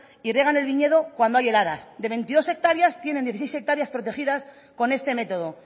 el viñedo cuando hay heladas de veintidós hectáreas tienen dieciséis hectáreas protegidas con este método